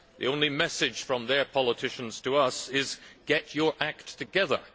The only message from their politicians to us is get your act together.